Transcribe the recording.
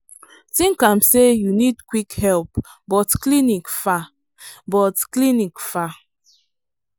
think am say you need quick help but clinic far. but clinic far.